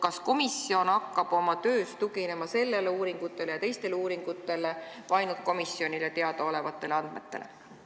Kas komisjon hakkab oma töös tuginema sellele uuringule ja teistele uuringutele või ainult komisjonile teada olevatele andmetele?